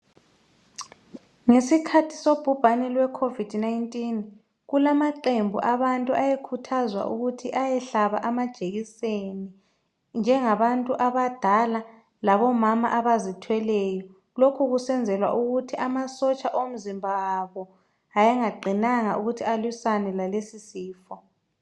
Ngesikhathi sobhubhane lwecovid 19 kulamaqembu abantu ayekhuthazwa ukuthi bayehlaba amajekiseni njengabantu abadala labomama abazithweleyo lokhu kusenzelwa ukuthi amasotsha omzimba wabo ayengaqinanga ukuthi alwisane lalesi sifo.